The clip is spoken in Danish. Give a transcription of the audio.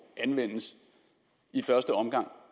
i første omgang